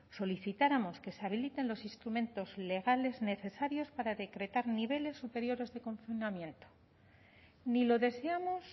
solicitáramos que se habiliten los instrumentos legales necesarios para decretar niveles superiores de confinamiento ni lo deseamos